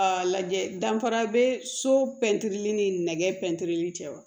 A lajɛ danfara be so pɛntiri ni nɛgɛ pɛntiri cɛ wa